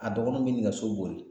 A dɔgɔninw bi nɛgɛso boli